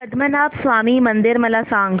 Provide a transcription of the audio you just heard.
पद्मनाभ स्वामी मंदिर मला सांग